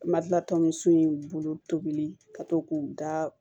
Madila tɔ in bolo tobili ka to k'u da